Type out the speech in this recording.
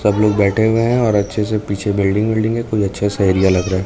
सब लोग बैठे हुए हैं और अच्छे से पीछे बिल्डिंग विल्डिंग कोई अच्छा सा एरिया लग रहा--